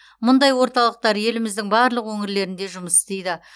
мұндай орталықтар еліміздің барлық өңірлерінде жұмыс істейді